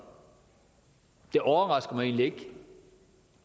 det overrasker mig egentlig ikke